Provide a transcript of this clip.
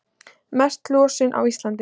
Mest losun á Íslandi